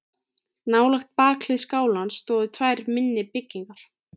Nálægt bakhlið skálans stóðu tvær minni byggingar.